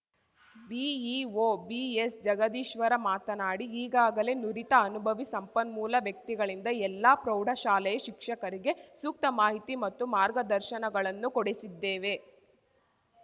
BEO BS Jagadishwara ಮಾತನಾಡಿ ಈಗಾಗಲೇ ನುರಿತ ಅನುಭವಿ ಸಂಪನ್ಮೂಲ ವ್ಯಕ್ತಿಗಳಿಂದ ಎಲ್ಲ ಪ್ರೌಢಶಾಲೆಯ ಶಿಕ್ಷಕರಿಗೆ ಸೂಕ್ತ ಮಾಹಿತಿ ಮತ್ತು ಮಾರ್ಗದರ್ಶನಗಳನ್ನು ಕೊಡಿಸಿದ್ದೇವೆ